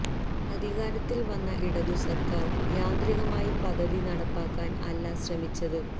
അധികാരത്തില് വന്ന ഇടതു സര്ക്കാര് യാന്ത്രികമായി പദ്ധതി നടപ്പാക്കാന് അല്ല ശ്രമിച്ചത്